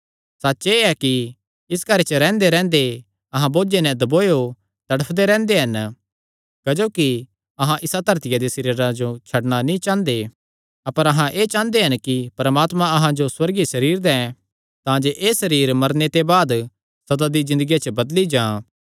सच्च एह़ ऐ कि इस घरे च रैंह्देरैंह्दे अहां बोझे नैं दबोयो तड़फदे रैंह्दे हन क्जोकि अहां इसा धरतिया दे सरीरां जो छड्डणा नीं चांह़दे अपर अहां एह़ चांह़दे हन कि परमात्मा अहां जो सुअर्गीय सरीर दैं तांजे एह़ सरीर मरने ते बाद सदा दी ज़िन्दगिया च बदली जां